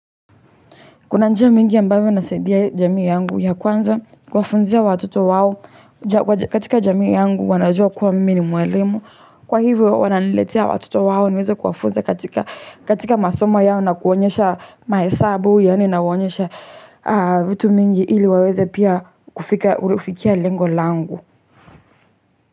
Kuna njia mingi ambayo nasaidia jamii yangu ya kwanza kuwa funzia watoto wao katika jamii yangu wanajua kuwa mimi ni mwelemu. Kwa hivyo wananiletea watoto wao niweze kuwa funza katika masomo yao na kuonyesha maesabu yaani nawaonyesha vitu mingi ili waweze pia kufikia lengo langu.